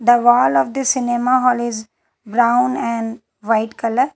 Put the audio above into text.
The wall of this cinema hall is brown and white colour.